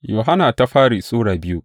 daya Yohanna Sura biyu